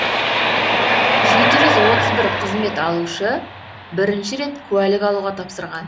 жеті жүз отыз бір қызмет алушы бірінші рет куәлік алуға тапсырған